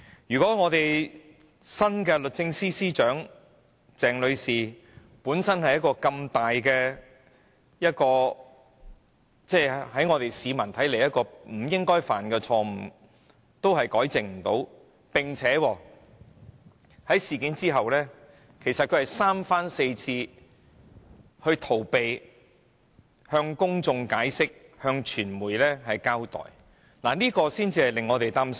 如果新任律政司司長鄭女士連這個普羅市民看來不應犯下的重大錯誤也不能糾正，並在事發後三番四次逃避向公眾解釋、向傳媒交代，則未免令我們感到擔憂。